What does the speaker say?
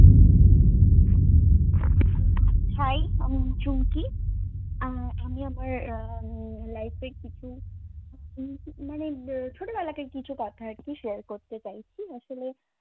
hi আমি চুমকি আহ আমি আমার আহ উম life এ কিছু উম মানে বে~ ছেলেবেলাকার কিছু কথা আরকি share করতে চাইছি। আসলে